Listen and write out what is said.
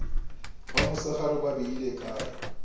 ba mosegare ba beile kae